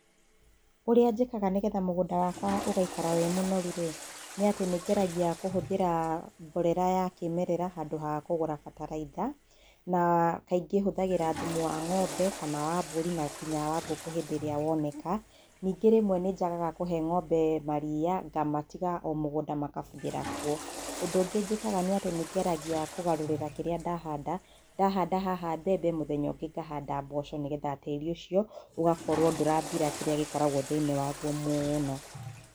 Ũrĩa njĩkaga nĩgetha mũgũnda wakwa ũgaikara wĩ mũnoru-rĩ, nĩ atĩ nĩ ngeragia kũhũthĩra mborera ya kĩmerera, handũ ha kũgũra bataraitha, na kaingĩ hũthagĩra thumu wa ng'ombe, kana wa mbũri, na nginya wa ngũkũ hĩndĩ ĩrĩa woneka, ningĩ rĩmwe nĩ njagaga kũhe ng'ombe maria, ngamatiga o mũgũnda makabuthĩra kuo, Ũndũ ũngĩ njĩkaga nĩ atĩ nĩ ngeragia kũgarũrĩra kĩrĩa ndahanda, ndahanda haha mbembe, mũthenya ũngĩ ngahanda mboco nĩgetha tĩri ũcio, ũgakorwo ndũrathira kĩrĩa gĩkoragwo thĩ-inĩ waguo mũno.